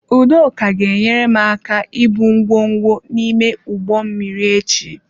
Udoka ga enyere m aka ibu ngwongwo n'ime ụgbọ mmiri echi.